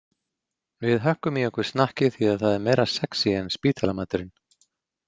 Við hökkum í okkur snakkið því að það er meira sexí en spítalamaturinn.